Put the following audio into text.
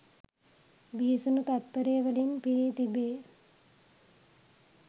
බිහිසුණු තත්ත්පර වලින් පිරී තිබේ.